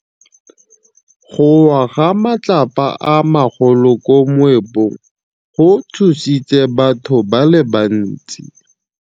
Go wa ga matlapa a magolo ko moepong go tshositse batho ba le bantsi.